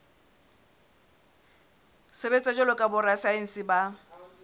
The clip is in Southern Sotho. sebetsa jwalo ka borasaense ba